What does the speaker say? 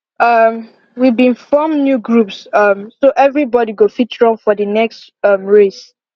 um we been form new groups um so every body go fit run for the next um race